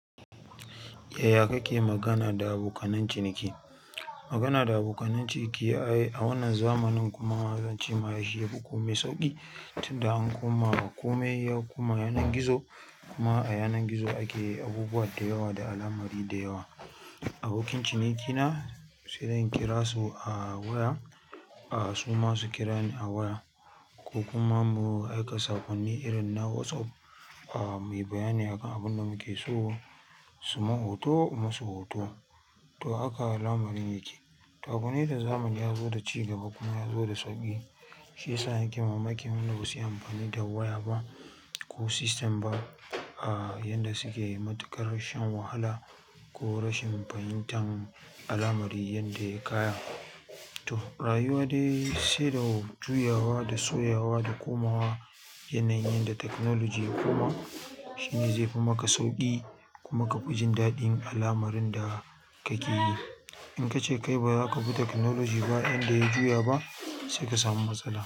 Yaya kake magana da abokananciniki? Magana da abokananciniki a wannan zamanin kuma zance ma shi yafi komai sauƙi tunda an koma ƙome koma yanar gizo kuma a yanar gizo ake abubuwa da yawa da al'amari da yawa. Abokin cinikina sai zan kira su a waya, a su ma su kira ni a waya ko kuma mu aika saƙonni irin na WhatsApp mai bayani akan abin da muke so su mun hoto in musu hoto. To haka lamarin yake. To abu ne da zamani ya zo da ci gaba kuma ya zo da sauƙi, shi ya sa yake mamaki. Wanda ba su iya amfani da waya ba ko sistem ba yanda suke yi matuƙar shan wahala ko rashin fahimtan al'amari yanda ya kayan. Toh rayuwa dai sai da juyawa da soyawa da komawa yanayin yanda technogoly ya koma shi ne yanda zaifi maka sauƙi kuma kafi jin daɗin al'amarin da kake yi in ka ce kai ba za ka bi teknoloji ba yanda ya juya ba sai ka samu matsala.